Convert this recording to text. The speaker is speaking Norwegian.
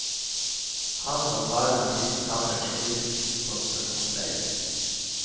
Han og faren har sittet sammen i tysk konsentrasjonsleir.